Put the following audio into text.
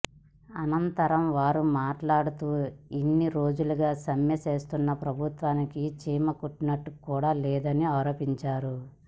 అనంతరం వారు మాట్లాడుతూ ఇన్ని రోజులుగా సమ్మె చేస్తున్న ప్రభుత్వానికి చీమ కుట్టినట్టుకూడా లేదని ఆరోపించారు